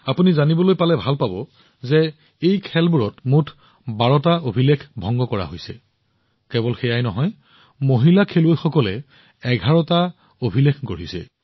আপুনি জানি সুখী হব যে এই খেলবোৰত মুঠ ১২ টা ৰেকৰ্ড ভংগ কৰা হৈছে কেৱল সেয়াই নহয় মহিলা খেলুৱৈসকলৰ নামত ১১ টা ৰেকৰ্ড সৃষ্টি হৈছে